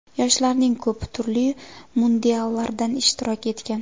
Yoshlarning ko‘pi turli mundiallardan ishtirok etgan”.